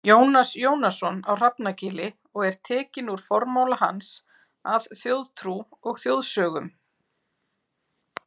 Jónas Jónasson á Hrafnagili og er tekinn úr formála hans að Þjóðtrú og þjóðsögnum.